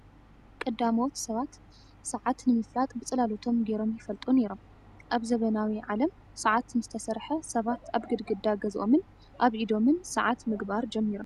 ቀዳማዎት ሰባት ሰዓት (ግዘ) ንምፍላጥ ብፅላለቶም ገይሮም ይፈልጡ ነይሮም። ኣብ ዘበናዊ ዓለም ሰዓት ምስተሰርሓ ሰባት ኣብ ግድግዳ ገዝኦምን ኣብ ኢዶምን ሰዓት ምግባር ጀሚሮም።